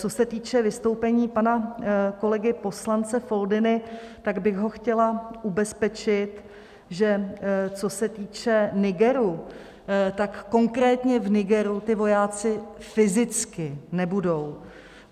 Co se týče vystoupení pana kolegy poslance Foldyny, tak bych ho chtěla ubezpečit, že co se týče Nigeru, tak konkrétně v Nigeru ti vojáci fyzicky nebudou.